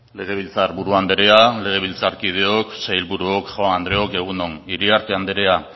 legebiltzarburu andrea legebiltzarkideok sailburuok jaun andreok egun on iriarte andrea